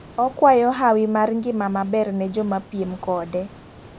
Okwayo hawi mar ng'ima maber ne joma piem kode